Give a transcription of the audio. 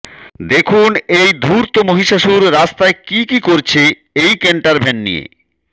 দেখুন এই ধূর্ত মহিষাসুর রাস্তায় কী কী করছে এই ক্যান্টারভ্যান নিয়ে